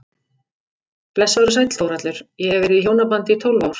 Blessaður og sæll Þórhallur, ég hef verið í hjónabandi í tólf ár.